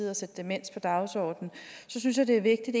at sætte demens på dagsordenen synes jeg det er vigtigt